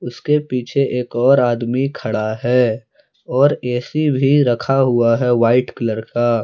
उसके पीछे एक और आदमी खड़ा है और ए_सी भी रखा हुआ है वाइट कलर का।